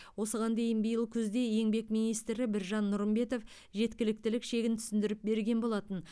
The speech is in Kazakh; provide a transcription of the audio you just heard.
осыған дейін биыл күзде еңбек министрі біржан нұрымбетов жеткіліктік шегін түсіндіріп берген болатын